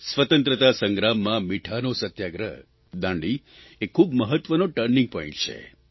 સ્વતંત્રતા સંગ્રામમાં મીઠાનો સત્યાગ્રહ દાંડી એ ખૂબ મહત્વનો ટર્નિંગ પોઇન્ટ છે